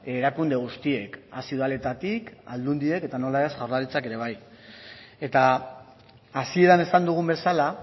erakunde guztiek hasi udaletatik aldundiek eta nola ez jaurlaritzak ere bai eta hasieran esan dugun bezala